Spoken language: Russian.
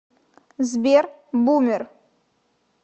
сбер бумер